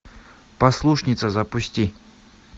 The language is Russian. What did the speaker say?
послушница запусти